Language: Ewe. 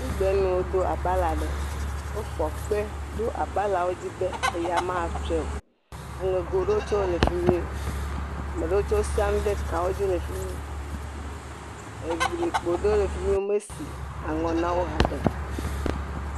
…nuwo do abala ɖe, wofɔ kpe ɖo abalawo dzi be eya matsɔe, aŋego ɖewo tsɛ wole fi mi, ame ɖewo tsɛ wosia nu ɖe kawo dzi le fi mi, eglikpo ɖewo le fi mi, womesi aŋɔ na wo haɖe o.